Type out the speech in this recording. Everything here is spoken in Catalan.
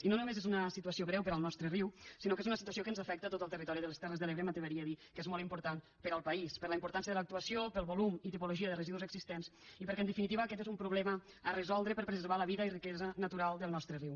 i no només és una situació greu per al nostre riu sinó que és una situació que ens afecta tot el territori de les terres de l’ebre m’atreviria a dir que és molt important per al país per la importància de l’actuació pel volum i tipologia de residus existents i perquè en definitiva aquest és un problema a resoldre per preservar la vida i riquesa natural del nostre riu